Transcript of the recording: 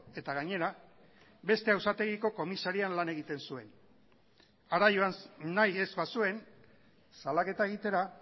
eta gainera beste auzitegiko komisarian lan egiten zuen hara joan nahi ez bazuen salaketa egitera